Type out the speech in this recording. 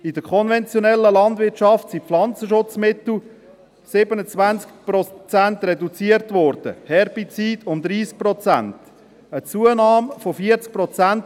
In der konventionellen Landwirtschaft wurden die Pflanzenschutzmittel um 27 Prozent reduziert, die Herbizide um 30 Prozent.